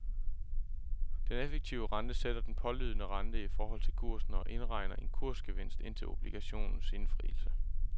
Den effektive rente sætter den pålydende rente i forhold til kursen og indregner en kursgevinst indtil obligationens indfrielse.